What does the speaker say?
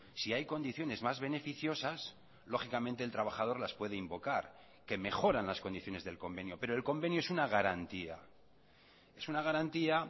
si hay condiciones más beneficiosas lógicamente el trabajador las puede invocar que mejoran las condiciones del convenio pero el convenio es una garantía es una garantía